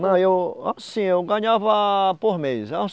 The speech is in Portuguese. Não, eu... Assim, eu ganhava por mês. é uns